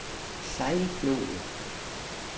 Sejlflod